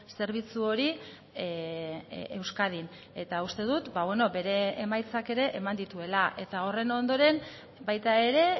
zerbitzu hori euskadin eta uste dut bere emaitzak ere eman dituela eta horren ondoren baita ere